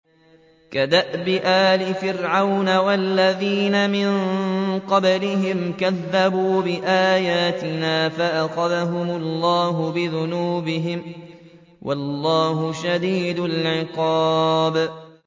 كَدَأْبِ آلِ فِرْعَوْنَ وَالَّذِينَ مِن قَبْلِهِمْ ۚ كَذَّبُوا بِآيَاتِنَا فَأَخَذَهُمُ اللَّهُ بِذُنُوبِهِمْ ۗ وَاللَّهُ شَدِيدُ الْعِقَابِ